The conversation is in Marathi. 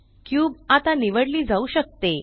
क्यूब आता निवडली जाऊ शकते